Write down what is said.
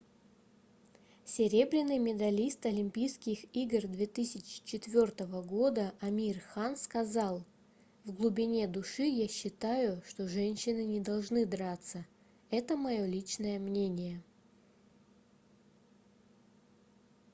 серебряный медалист олимпийских игр 2004 года амир хан сказал в глубине души я считаю что женщины не должны драться это мое личное мнение